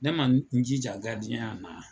Ne ma n jija na.